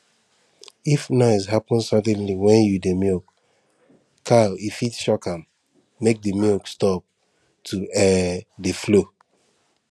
if noise happen suddenly when you dey milk cow e fit shock am make the milk stop to um dey flow